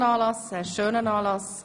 Es war ein toller und schöner Anlass.